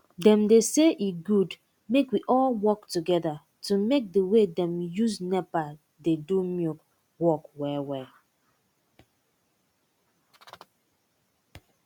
dem dey say e good make we all work togeda to make d way dem use nepa dey do milk work well well